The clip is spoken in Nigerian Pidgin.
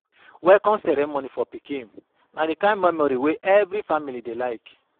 Welcome ceremony for pikin na di kind memory wey every family dey like.